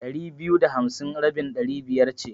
Ɗari biyu da hamsi rabin Ɗari biyar ce.